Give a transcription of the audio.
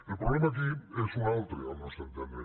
el problema aquí és un altre al nostre entendre